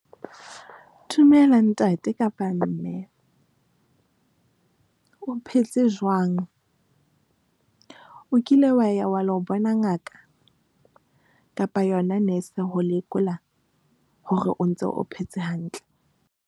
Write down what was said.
Dumela ntate kapa mme o phetse jwang. O kile wa ya wa lo bona ngaka kapa yona nese ho lekola hore o ntso o phetse hantle?